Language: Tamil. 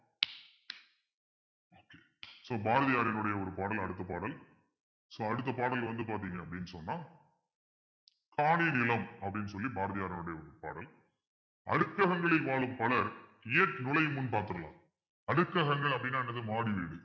so பாரதியாரினுடைய ஒரு பாடல் அடுத்த பாடல் so அடுத்த பாடல் வந்து பார்த்தீங்க அப்பிடின்னு சொன்னா காணி நிலம் அப்பிடின்னு சொல்லி பாரதியாருடைய பாடல் அடுத்தவங்களில் வாழும் பலர் ஏற்றி நுழையும் முன் பார்த்திடலாம் அடுக்ககங்கள் அப்பிடின்னா என்னது மாடி வீடு